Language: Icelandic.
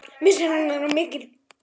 Missir hennar er mikill.